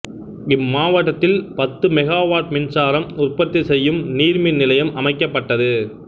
இம்மாவட்டத்தில் பத்து megawatt மின்சாரம் உற்பத்தி செய்யும் நீர் மின் நிலையம் அமைக்கப்பட்டது